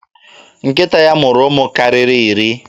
Nkịta ya mụrụ ụmụ karịrị iri.